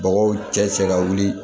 Mɔgɔw cɛ ka wuli